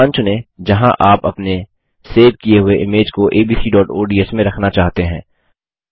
स्थान चुनें जहाँ आप अपने सेव किये हुए इमेज को abcओडीएस में रखना चाहते हैं